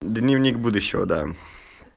дневник будущего да